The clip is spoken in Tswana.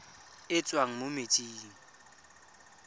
e e tswang mo metsing